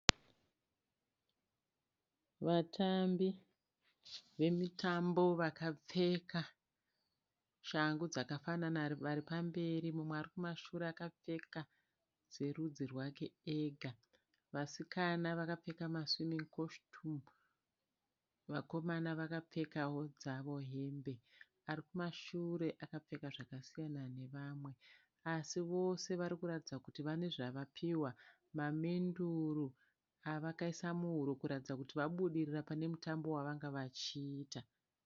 Vatambii vemitambo vakapfeka shangu dzakafanana vari pamberi mumwe arikumashure akapfeka dzerudzi rwake ega. Vasikana vakapfeka maswimin'i koshitumu, vakomana vakapfekawo dzavo hembe. Arikumashure akapfeka zvakasiyana nevamwe. Asi vose varikuratidza kuti vane zvavapiwa, mamenduru avakaisa muhuro kuratidza kuti vabudirira panemutambo wavanga vachiita.